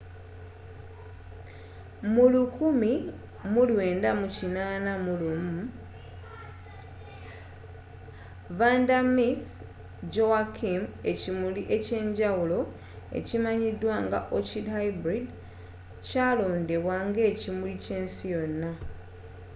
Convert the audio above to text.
mu 1981 vanda miss joaquim ekimuli ekyenjawulo ekyimanyidwa nga orchid hybrid kyalondebwa ngekimuli kyensi yonna